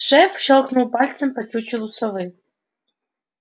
шеф щёлкнул пальцем по чучелу совы